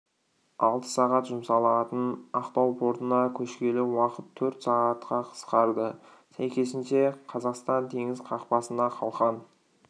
алты сағат жұмсалатын ақтау портына көшкелі уақыт төрт сағатқа қысқарды сәйкесінше қазақстан теңіз қақпасына қалқан